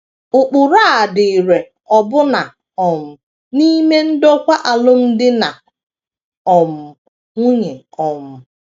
Ụkpụrụ a dị irè ọbụna um n’ime ndokwa alụmdi na um nwunye. um